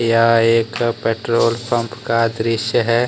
यह एक petrol pump का दृश्य है।